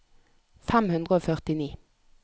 fem hundre og førtini